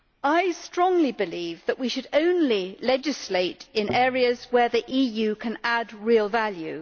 I strongly believe that we should only legislate in areas where the EU can add real value.